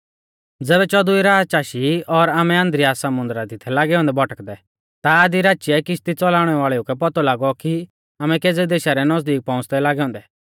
ज़ैबै चौदवी राच आशी और आमै अद्रिया समुन्दरा दी थै लागै औन्दै भटकदै ता आधी राचीऐ किश्ती च़लाउणै वाल़ेऊ कै पौतौ लागौ कि आमै केज़ै देशा रै नज़दीक पौउंच़दै लागै औन्दै